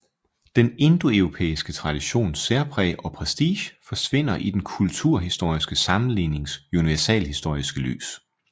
Den indoeuropæiske traditions særpræg og prestige forsvinder i den kulturhistoriske sammenlignings universalhistoriske lys